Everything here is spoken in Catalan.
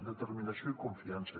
determinació i confiança